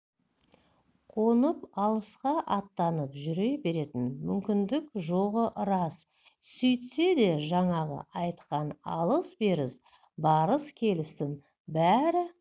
қонып алысқа аттанып жүре беретін мүмкіндік жоғы рас сөйтсе де жаңағы айтқан алыс-беріс барыс-келістің бәрі